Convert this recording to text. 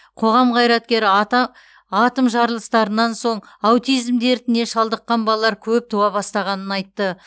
қоғам қайраткері ата атом жарылыстарынан соң аутизм дертіне шалдыққан балалар көп туа бастағанын айтты